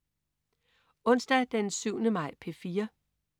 Onsdag den 7. maj - P4: